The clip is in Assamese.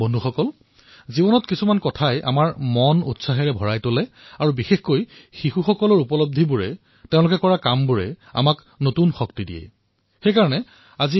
বন্ধুসকল কিছুমান ঘটনাই আমাৰ মন প্ৰফুল্লিত কৰি তোলে বিশেষকৈ যেতিয়া আমাৰ শিশুসকলে সাফল্য অৰ্জন কৰে